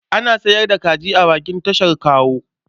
Ana sayar da kaji a bakin tashar motar Kawo.